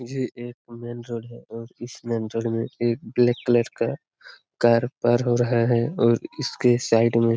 ये एक main road है और इस मेन रोड में एक ब्लैक कलर का कार पार हो रहा है और इसके साइड में--